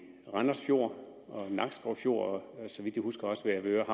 randers fjord i nakskov fjord og så vidt jeg husker også ved avedøre